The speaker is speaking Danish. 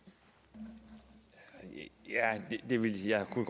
der vil jeg da